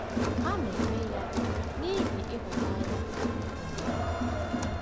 Ha na-eme ya n’ihi ịhụnanya n’omenala?